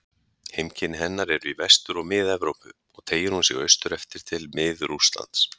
Heimkynni hennar eru í Vestur- og Mið-Evrópu og teygir hún sig austur eftir til Mið-Rússlands.